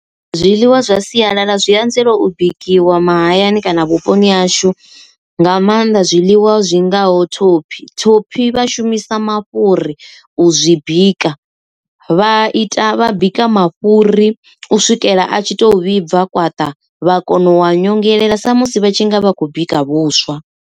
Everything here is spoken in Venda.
Zwiḽiwa zwa sialala zwi anzela u bikiwa mahayani kana vhuponi hashu nga maanḓa zwiḽiwa zwingaho thophi, thophi vha shumisa mafhuri u u zwi bika vha ita vha bika mafhuri u swikela a tshi to vhibva kwaṱa, vha kona u wa nyongelela sa musi vha tshi nga vha khou bika vhuswa.